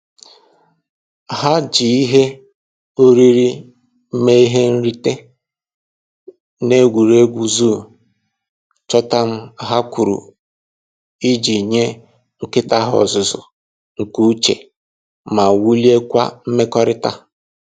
Ha ji ihe oriri mee ihe nrite n'egwuregwu zoo chọtam ha gwuru iji nye nkịta ha ọzụzụ nke uche ma wuliekwa mmekọrịta